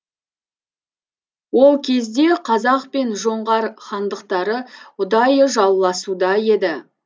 ол кезде қазақ пен жоңғар хандықтары ұдайы жауласуда еді